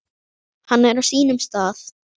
Hann er á sínum stað.